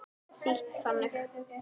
Þýtt þannig